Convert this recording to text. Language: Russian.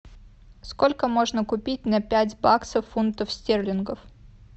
сколько можно купить на пять баксов фунтов стерлингов